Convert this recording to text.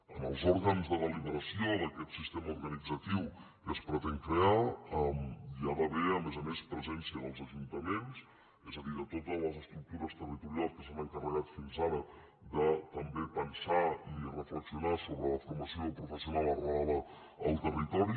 en els òrgans de deliberació d’aquest sistema organitzatiu que es pretén crear hi ha d’haver a més a més presència dels ajuntaments és a dir de totes les estructures territorials que s’han encarregat fins ara de també pensar i reflexionar sobre la formació professional arrelada al territori